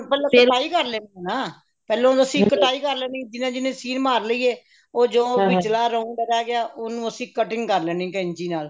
ਪਹਿਲਾਂ ਸਲਾਈ ਕਰ ਲੈਣੀ ਹੈ ਨਾ ਪਹਿਲਾਂ ਕਟਾਈ ਕਰ ਲੈਣੀ ਜਿਹਨੇ ਜਿਹਨੇ ਸੀਨ ਮਾਰ ਲਈ ਹੈ ਉਹ ਜੋ ਵਿਚਲਾ round ਰਿਹ ਗਿਆ ਉਹਨੂੰ ਅਸੀਂ cutting ਕਰ ਲੈਣੀ ਕੇੰਚੀ ਨਾਲ